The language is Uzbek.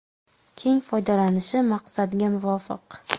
keng foydalanishi maqsadga muvofiq.